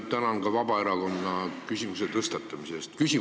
Ma tänan ka Vabaerakonda küsimuse tõstatamise eest!